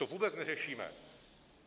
To vůbec neřešíme!